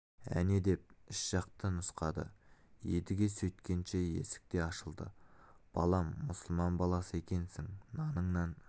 әне деп іш жақты нұсқады едіге сөйткенше есік те ашылды балам мұсылман баласы екенсің наныңнан